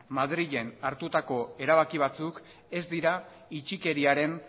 madrilen hartutako erabaki batzuk ez dira itxikeriaren